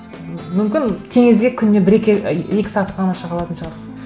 мүмкін теңізге күніне бір екі рет екі сағатқа ғана шыға алатын шығарсыз